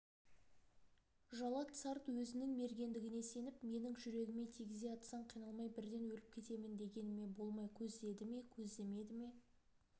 жалат сарт өзінің мергендігіне сеніп менің жүрегіме тигізе атсаң қиналмай бірден өліп кетемін дегеніме болмай көздеді ме көздемеді